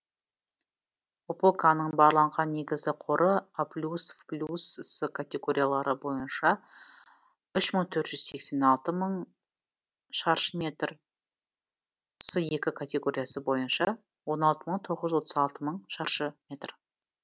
опоканың барланған негізгі қоры аплюсвплюсс категориялары бойынша үш мың төрт жүз сексен алты шаршы метр с екі категориясы бойынша он алты мың тоғыз жүз отыз алты мың шаршы метр